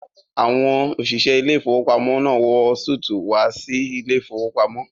Àwọn òṣìṣẹ́ ilé-ìfowópamọ́sí náà wọ súùtù wá sí ilé-ìfowópamọ́